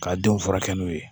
Ka denw furakɛ n'u ye